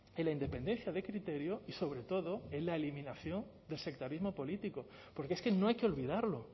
en la independencia de criterio y sobre todo en la eliminación del sectarismo político porque es que no hay que olvidarlo